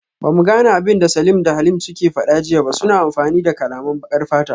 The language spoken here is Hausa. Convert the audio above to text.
Bamu gane abinda Salim da Halim suke fada jiya ba, suna amfani da kalaman bakar fata